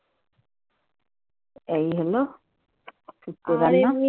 এই হলো শুক্তো রান্না.